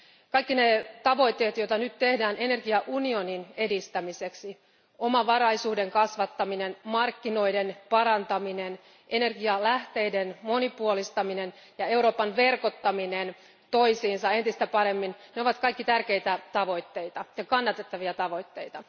Kaikki ne tavoitteet, joita nyt tehdään energiaunionin edistämiseksi omavaraisuuden kasvattaminen, markkinoiden parantaminen, energialähteiden monipuolistaminen ja Euroopan maiden verkottaminen toisiinsa entistä paremmin ovat kaikki tärkeitä ja kannatettavia tavoitteita.